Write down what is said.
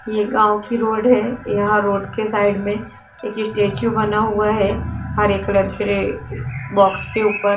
ये गांव की रोड है यहां रोड के साइड में एक स्टेचू बना हुआ है हरे कलर के रे बॉक्स के ऊपर--